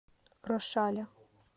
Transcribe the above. рошаля